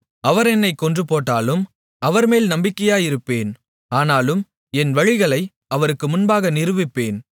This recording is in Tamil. அவர் என்னைக் கொன்றுபோட்டாலும் அவர்மேல் நம்பிக்கையாயிருப்பேன் ஆனாலும் என் வழிகளை அவருக்கு முன்பாக நிரூபிப்பேன்